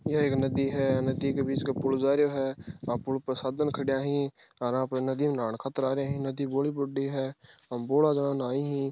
या एक नदी है नदी के बीच क पूल जा रो है बा पूल पर साधन खड़ा ही आर आ नदी पर नहान खातर आरा है नदी बोली बड़ी है एम बोला जना नहाई ही।